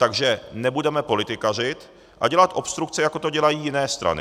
Takže nebudeme politikařit a dělat obstrukce, jako to dělají jiné strany.